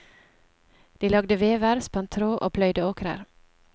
De lagde vever, spant tråd og pløyde åkrer.